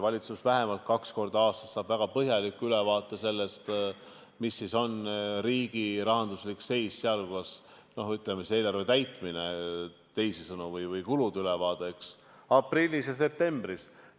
Valitsus vähemalt kaks korda aastas saab väga põhjaliku ülevaate sellest, mis on riigi rahanduslik seis, sh eelarve täitmine või kulude ülevaade, aprillis ja septembris.